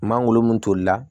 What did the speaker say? Mangoro mun tolila